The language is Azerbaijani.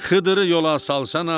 Xıdılı yola salsana.